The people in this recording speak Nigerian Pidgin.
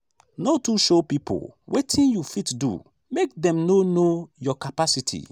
no too show pipo wetin you fit do make dem no know your capacity.